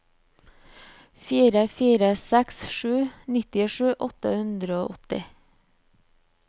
fire fire seks sju nittisju åtte hundre og åtti